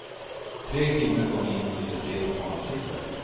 Tre kvinnor kom in och ville se på matsilver.